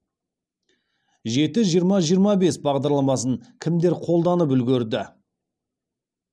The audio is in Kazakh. жеті жиырма жиырма бес бағдарламасын кімдер қолданып үлгерді